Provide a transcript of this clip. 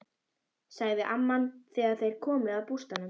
sagði amman þegar þeir komu að bústaðnum.